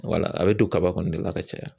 a bɛ don kaba kɔni de la ka caya